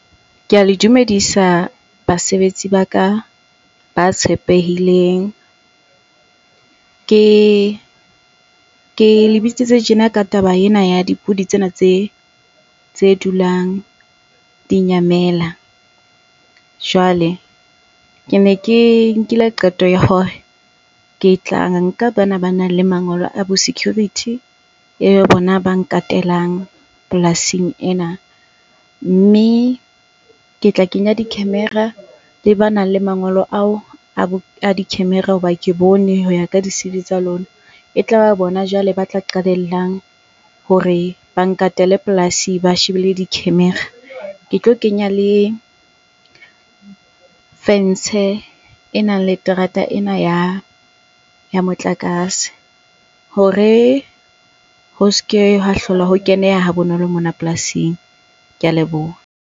Ke a le dumedisa basebetsi ba ka ba tshepehileng. Ke le bitsitse tjena ka taba ena ya dipudi tsena tse dulang di nyamela. Jwale ke ne ke nkile qeto ya hore ke tla nka bana ba nang le mangolo a bo security eo bona ba nkatelang polasing ena. Mme ke tla kenya di-camera le banang le mangolo ao a di-camera hoba ke bone hoya ka di C_V tsa lona. E tlaba bona jwale ba tla qalellang hore ba nkatele polasi ba shebile di-camera. Ke tlo kenya le fentshe e nang le terata ena ya motlakase hore ho ske hwa hlola ho keneha ha bonolo mona polasing. Ke a leboha.